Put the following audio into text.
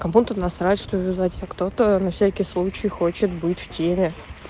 кому-то насрать что юзать а кто-то на всякий случай хочет быть в теле